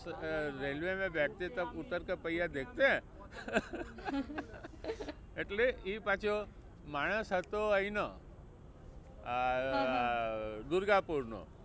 અ railway મેં બૈઠ કે તુમ ઉત્તર કે પૈયા દેખતે હૈ. એટલે એ પાછો માણસ હતો અહી નો અ દુર્ગા પૂર નો.